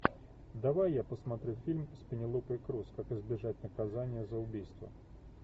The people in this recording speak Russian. давай я посмотрю фильм с пенелопой крус как избежать наказания за убийство